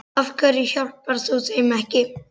Af hverju hjálpar þú þeim ekki?